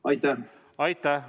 Aitäh!